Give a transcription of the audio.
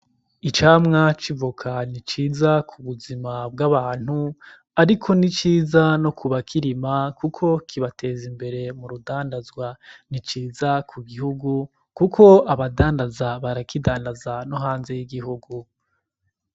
Icamwa c'ivoka ni ciza ku buzima bw'abantu , ariko n'iciza no kubakirima kuko kibatez'imbere m'uridandazwa , ni ciza ku gihugu kuko abadandaza barakidandaza no hanze y'igihugu.